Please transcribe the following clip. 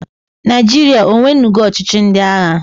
Naịjịrịa onwenugo ọchịchị ndị agha?